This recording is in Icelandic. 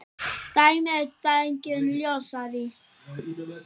Dæmin eru deginum ljósari.